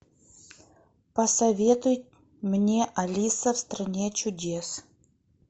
посоветуй мне алиса в стране чудес